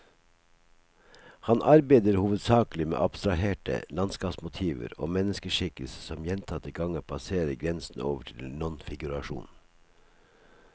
Han arbeider hovedsakelig med abstraherte landskapsmotiver og menneskeskikkelser som gjentatte ganger passerer grensen over til nonfigurasjon.